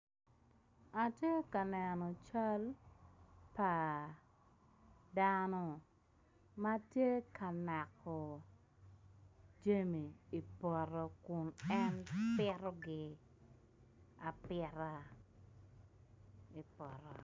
Atye ka neno cal pa dano ma tye ka nako jami i poto kun en pitogi apita i poto.